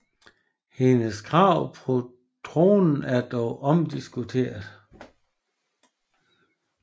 Hendes krav på tronen er dog omdiskuteret